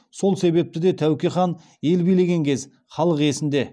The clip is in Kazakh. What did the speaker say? сол себепті де тәуке хан ел билеген кез халық есінде